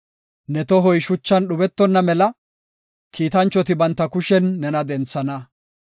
Ne tohoy shuchan dhubetonna mela, kiitanchoti banta kushen nena denthana.